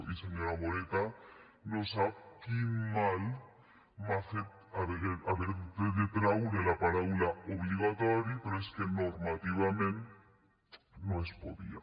i senyora moreta no sap quin mal m’ha fet haver de traure la paraula obligatori però és que normativament no es podia